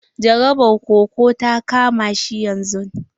Jarabar koko ta kama shi yanzun.